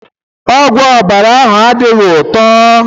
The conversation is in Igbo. Ọgwụ ọbara ahụ adịghị ụtọ.